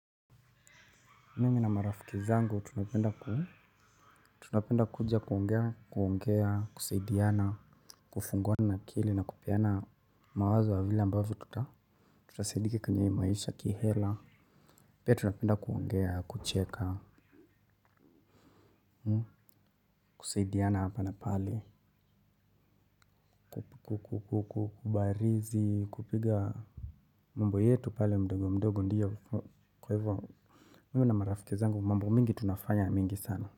Mimi na marafiki zangu tunapenda kuja kuongea, kuongea, kusaidiana, kufunguana akili na kupeana mawazo ya vile ambavyo tuta tutasaidika kwenye hii maisha kihela. Pia tunapenda kuongea, kucheka, kusaidiana hapa na pale. Kubarizi, kupiga mambo yetu pale mdogo mdogo ndio, kwa hivyo mimi na marafiki zangu mambo mingi tunafanya mingi sana.